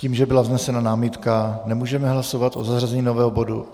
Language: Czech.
Tím, že byla vznesena námitka, nemůžeme hlasovat o zařazení nového bodu.